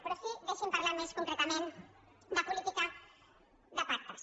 però sí deixi’m parlar més concretament de política de pactes